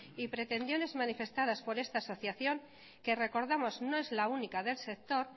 y pretensiones manifestadas por esta asociación que recordamos no es la única del sector